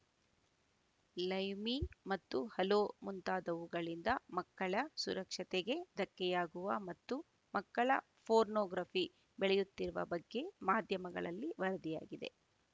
live me ಮತ್ತು hello ಮುಂತಾದವುಗಳಿಂದ ಮಕ್ಕಳ ಸುರಕ್ಷತೆಗೆ ಧಕ್ಕೆಯಾಗುವ ಮತ್ತು ಮಕ್ಕಳ ಪೋರ್ನೊಗ್ರಾಫಿ ಬೆಳೆಯುತ್ತಿರುವ ಬಗ್ಗೆ ಮಾಧ್ಯಮಗಳಲ್ಲಿ ವರದಿಯಾಗಿದೆ